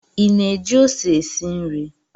Ị na-eji ose esi nri